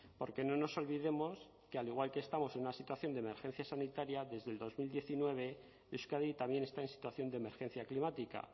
porque no nos olvidemos que al igual que estamos en una situación de emergencia sanitaria desde el dos mil diecinueve euskadi también está en situación de emergencia climática